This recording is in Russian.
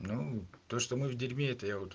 ну то что мы в дерьме это я вот